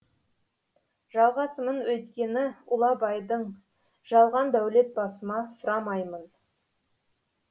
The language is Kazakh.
жалғасымын өйткені ұлы абайдыңжалған дәулет басыма сұрамаймын